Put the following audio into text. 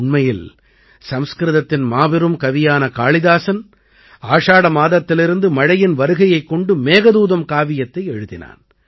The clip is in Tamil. உண்மையில் சம்ஸ்கிருதத்தின் மாபெரும் கவியான காளிதாஸன் ஆஷாட மாதத்திலிருந்து மழையின் வருகையைக் கொண்டு மேகதூதம் காவியத்தை எழுதினான்